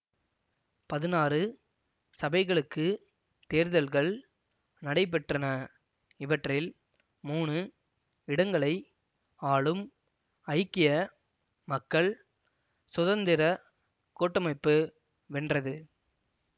பதினாறு சபைகளுக்கு தேர்தல்கள் நடைபெற்றன இவற்றில் மூனு இடங்களை ஆளும் ஐக்கிய மக்கள் சுதந்திர கூட்டமைப்பு வென்றது